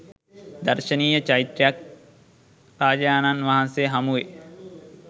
දර්ශනීය චෛත්‍ය රාජයාණන් වහන්සේ හමුවෙයි.